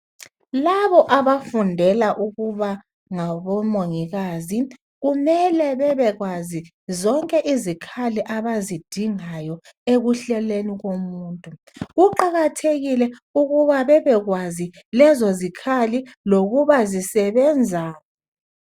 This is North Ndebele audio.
Labo abafundela ukuba ngabomongikazi kumele babekwazi zonke izikhali abazidingayo ekuhlolweni komuntu kuqakathekile ukuba babekwazi lezo zikhali lokuba zisebenzani.